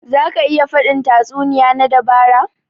Za ka iya faɗin tatsuniya na dabara?